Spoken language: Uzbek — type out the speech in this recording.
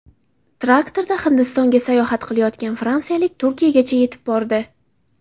Traktorida Hindistonga sayohat qilayotgan fransiyalik Turkiyagacha yetib bordi.